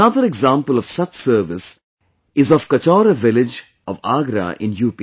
Another example of such service is of Kachora village of Agra in U